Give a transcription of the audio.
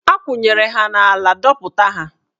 A kwụnyere ha n'ala, dọpụta ha!